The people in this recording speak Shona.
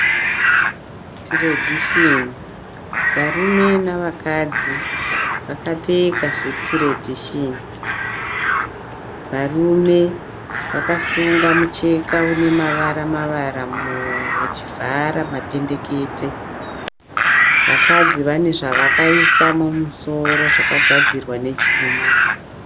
Tiredhisheni, varume navakadzi vakapfeka zvetiredhisheni , varume vakasunga mucheka unemavara mavara muhuro uchivhara mapendekete, vakadzi vane zvavakaisa mumusoro zvakagadzirwa nechuma.